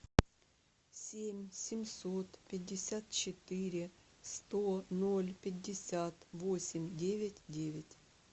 семь семьсот пятьдесят четыре сто ноль пятьдесят восемь девять девять